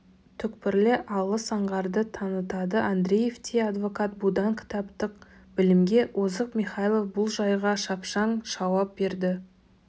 түкпірлі алыс аңғарды танытады андреевтей адвокат бұдан кітаптық білімге озық михайлов бұл жайға шапшаң жауап берді